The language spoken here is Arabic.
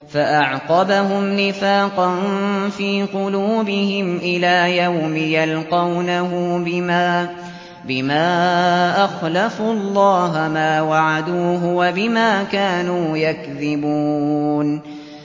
فَأَعْقَبَهُمْ نِفَاقًا فِي قُلُوبِهِمْ إِلَىٰ يَوْمِ يَلْقَوْنَهُ بِمَا أَخْلَفُوا اللَّهَ مَا وَعَدُوهُ وَبِمَا كَانُوا يَكْذِبُونَ